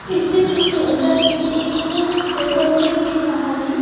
इस चित्र के अंदर हमें एक पेट्रोल टैंक दिख रहा है।